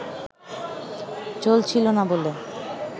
চলছিল না বলে